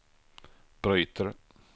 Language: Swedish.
bryter